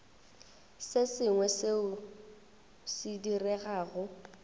se sengwe seo se diregago